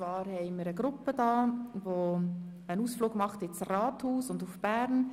Wir haben eine Gruppe hier, nämlich die EDU aus Oberwil im Simmental.